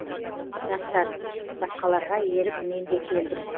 дастан басқаларға еріп мен де келдім